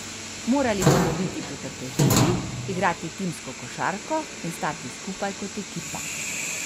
Morali bomo biti potrpežljivi, igrati timsko košarko in stati skupaj kot ekipa.